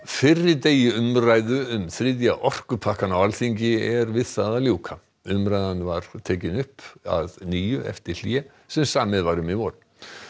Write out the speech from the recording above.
fyrri degi umræðu um þriðja orkupakkann á Alþingi er við það að ljúka umræðan var tekin upp að nýju eftir hlé sem samið var um í vor